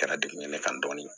Kɛra degeɲɛ kan dɔɔni